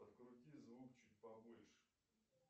подкрути звук чуть побольше